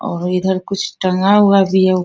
और इधर कुछ टंगा हुआ भी है उ --